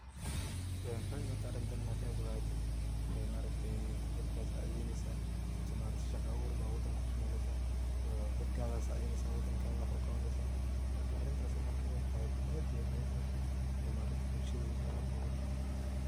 Maxay muhiim u tahay arintan in aad ka qeyb qaadato, dadka as sacidheyneysa mase shaqa abuurba wadanka usameyneysa, dadkadha sacidheyneysa, wadan kadha wax uqabsneysa, marka arin taas inad kaqeyb qadhato ad ay muhim utahay oo bulshadha ay muhim utahy.